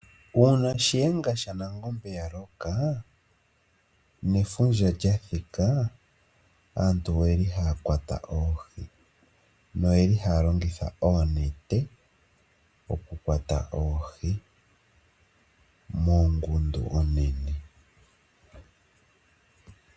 Uuna Shiyenga shaNangombe ya loka, nefundja lya thika, aantu oye li haya kwata oohi, noye li haya longitha oonete oku kwata oohi mongundu onene.